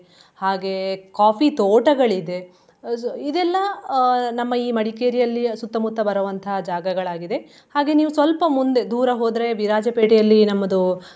ಹಾಗೆ coffee ತೋಟಗಳಿದೆ. so ಇದೆಲ್ಲಾ ಅಹ್ ನಮ್ಮ ಈ ಮಡಿಕೇರಿಯಲ್ಲಿಯ ಸುತ್ತಮುತ್ತ ಬರುವಂತಹ ಜಾಗಗಳಾಗಿದೆ. ಹಾಗೆ ನೀವ್ ಸ್ವಲ್ಪ ಮುಂದೆ ದೂರ ಹೋದ್ರೆ ವಿರಾಜಪೇಟೆಯಲ್ಲಿ ನಮ್ಮದು.